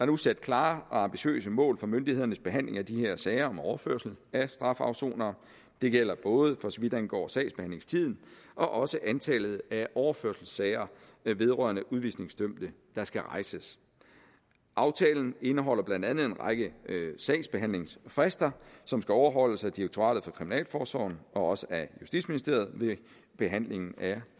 nu sat klare og ambitiøse mål for myndighedernes behandling af de her sager om overførsel af strafafsonere det gælder både for så vidt angår sagsbehandlingstiden og også antallet af overførselssager vedrørende udvisningsdømte der skal rejses aftalen indeholder blandt andet en række sagsbehandlingsfrister som skal overholdes af direktoratet for kriminalforsorgen og også af justitsministeriet ved behandlingen af